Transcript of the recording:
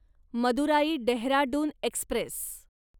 Madurai Dehradun Express